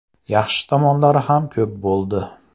Yaxshi tomonlari ham ko‘p bo‘ldi.